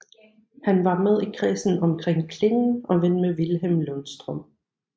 Han var med i kredsen omkring Klingen og ven med Vilhelm Lundstrøm